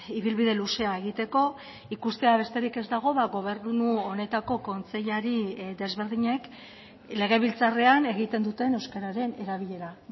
ibilbide luzea egiteko ikustea besterik ez dago gobernu honetako kontseilari desberdinek legebiltzarrean egiten duten euskararen erabilera